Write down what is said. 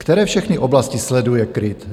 Které všechny oblasti sleduje KRIT?